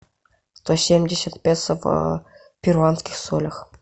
сто семьдесят песо в перуанских солях